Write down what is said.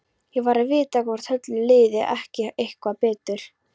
Ég varð að vita hvort Höllu liði ekki eitthvað betur.